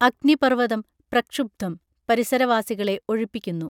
അഗ്നിപർവതം പ്രക്ഷുബ്ധം പരിസരവാസികളെ ഒഴിപ്പിക്കുന്നു